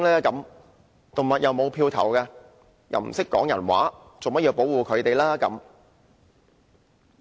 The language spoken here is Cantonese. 動物既不能投票，又不懂說人話，為何要保護牠們呢？